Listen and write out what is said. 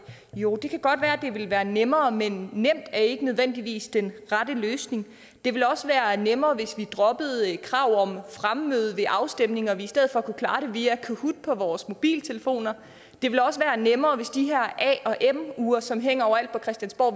jo det kan godt være at det ville være nemmere men nemt er ikke nødvendigvis den rette løsning det ville også være nemmere hvis vi droppede kravet om fremmøde ved afstemninger og vi i stedet for kunne klare det via kahoot på vores mobiltelefoner det ville også være nemmere hvis de her a og m ure som hænger overalt på christiansborg